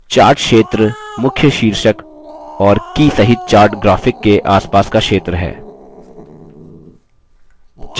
chart क्षेत्र मुख्य शीर्षक और की सहित chart graphic के आसपास का क्षेत्र है